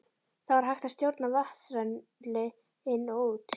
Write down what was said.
Þá var hægt að stjórna vatnsrennsli inn og út.